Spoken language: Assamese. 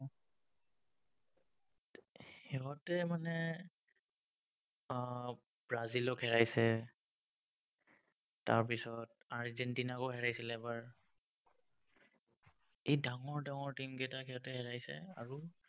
সিহঁতে মানে উম ব্ৰাজিলক হেৰাইছে। তাৰপিছত আৰ্জেন্টিনাকো হেৰাইছিল এবাৰ। এই ডাঙৰ ডাঙৰ team কেইটাক সিহঁতে হেৰাইছে, আৰু